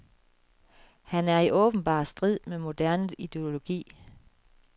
Han er i åbenbar strid med moderne ideologi.